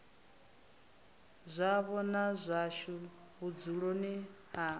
zwavho na zwashu vhudzuloni ha